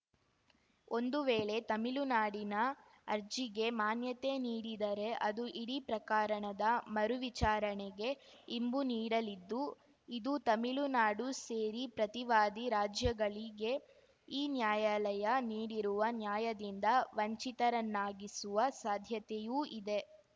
ಒಂದು ವೇಳೆ ತಮಿಳುನಾಡಿನ ಅರ್ಜಿಗೆ ಮಾನ್ಯತೆ ನೀಡಿದರೆ ಅದು ಇಡೀ ಪ್ರಕರಣದ ಮರು ವಿಚಾರಣೆಗೆ ಇಂಬು ನೀಡಲಿದ್ದು ಇದು ತಮಿಳುನಾಡು ಸೇರಿ ಪ್ರತಿವಾದಿ ರಾಜ್ಯಗಳಿಗೆ ಈ ನ್ಯಾಯಾಲಯ ನೀಡಿರುವ ನ್ಯಾಯದಿಂದ ವಂಚಿತರನ್ನಾಗಿಸುವ ಸಾಧ್ಯತೆಯೂ ಇದೆ